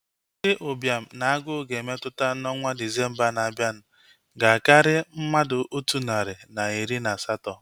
Ndị ụbịam na agụụ ga-emetụta n'ọnwa Disembaa na-abianu ga-akari mmadụ otu nari na iri na asatọ